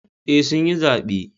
Eh sun yi zabe